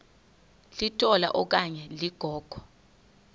litola okanye ligogo